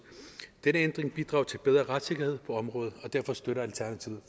denne ændring bidrager til bedre retssikkerhed på området og derfor støtter alternativet